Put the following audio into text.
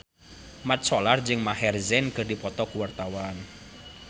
Mat Solar jeung Maher Zein keur dipoto ku wartawan